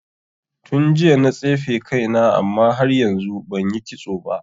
Tun jiya na tsefe kaina amma har yanzu banyi kitso ba.